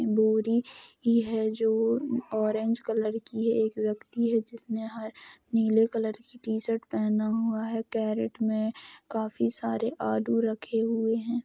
बोरी ही है जो ऑरेंज कलर की है। यह एक व्यक्ति है जिसने हर नीले कलर की टी शर्ट पहना हुआ है| केरेट में काफी सारे आलू रखे हुए हैं।